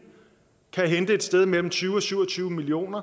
hente et sted mellem tyve og syv og tyve million